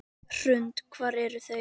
Hrund: Hvar eru þeir?